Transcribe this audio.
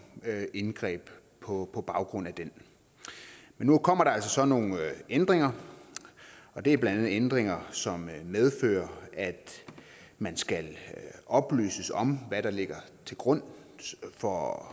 indgreb på på baggrund af den men nu kommer der altså så nogle ændringer og det er blandt andet ændringer som medfører at man skal oplyses om hvad der ligger til grund for